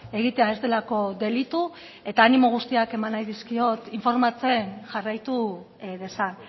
egitea ez delako delitu eta animo guztiak eman nahi dizkiot informatzen jarraitu dezan